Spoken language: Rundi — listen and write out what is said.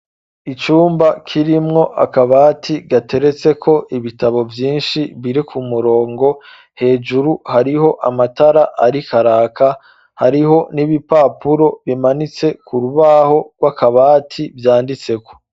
Icumba kirimwo akabati gateretse ko ibitabo vyinshi birI ku murongo hejuru hariho amatara ariko araka hariho n'ibipapuro bimanitse ku rubaho rw'akabati vyanditseko.